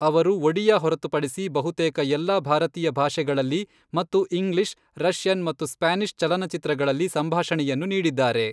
ಅವರು ಒಡಿಯಾ ಹೊರತುಪಡಿಸಿ ಬಹುತೇಕ ಎಲ್ಲಾ ಭಾರತೀಯ ಭಾಷೆಗಳಲ್ಲಿ ಮತ್ತು ಇಂಗ್ಲಿಷ್, ರಷ್ಯನ್ ಮತ್ತು ಸ್ಪ್ಯಾನಿಷ್ ಚಲನಚಿತ್ರಗಳಲ್ಲಿ ಸಂಭಾಷಣೆಯನ್ನು ನೀಡಿದ್ದಾರೆ.